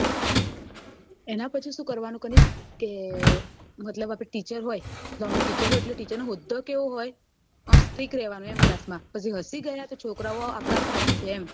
એના પછી શું કરવાનું કની કે મતલબ આપડે teacher હોય એટલે ટીચેર નો હોદ્દો કેવો હોય ઓમ strick રેવાનું એમ class માં પછી હસી ગયા તો છોકરા ઓ આપદા ઉપર હસશે એમ